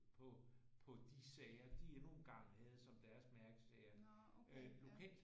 På på de sager de endnu engang havde som deres mærkesager øh lokalt